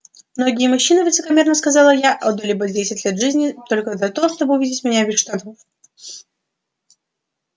многие мужчины высокомерно сказала я отдали бы десять лет жизни только за то чтобы увидеть меня без штанов